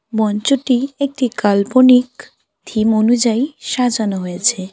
মঞ্চটি একটি কাল্পনিক থিম অনুযায়ী সাজানো হয়েছে।